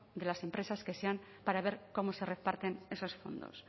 de las empresas que sean para ver cómo se reparten esos fondos